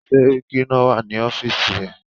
Sẹ́ríkí náà wà ní ọ́fìsì ẹ̀.